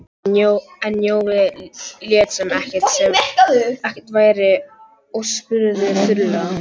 En Jói lét sem ekkert væri og spurði þurrlega